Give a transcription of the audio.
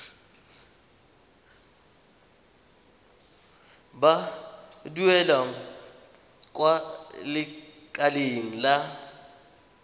ba duelang kwa lekaleng la